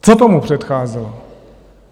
Co tomu předcházelo?